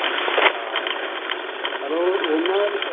ਹਾਂ ਚੱਲੋ ਉਹਨਾਂ ਦੀ,